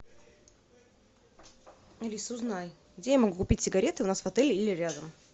алиса узнай где я могу купить сигареты у нас в отеле или рядом